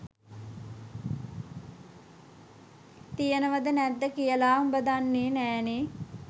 තියනවද නැද්ද කියලා උඹ දන්නෙ නෑනේ.